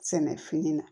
Sɛnɛ fini na